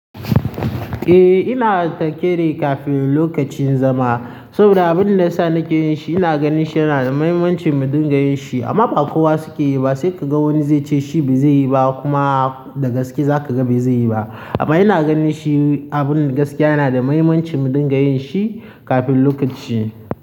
Eh ina takele kafin lokacin zama. Saboda abin da yasa nake yin shi, ina ganin shi yana da mahimmancin mu dinga yin shi amma ba kowa suke yi ba. Sai ka ga wani zai ce shi bai zai yi ba kuma da gaske za ka ga ba zai yi ba. Amma ina ganin shi, abun gaskiya yana da mahimmancin mu dinga yin shi kafin lokaci.